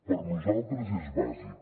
per nosaltres és bàsic